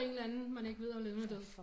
En eller anden man ikke ved er levende eller død